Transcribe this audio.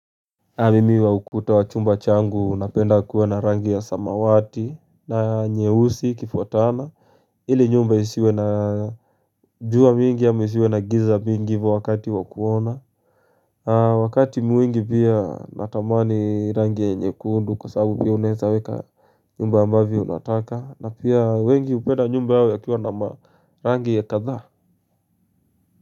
Amimi wa ukuta wachumba changu napenda kuwe na rangi ya samawati na nyeusi ikifuatana ili nyumba isiwe na jua mingi ama isiwe na giza mingi hivo wakati wa kuona Wakati mwingi pia natamani rangi ya nyekundu kwa sababu pia unaweza weka nyumba ambavyo unataka na pia wengi hupenda nyumba hawa ya kuwe na marangi ya kadhaa.